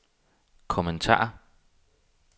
kommentar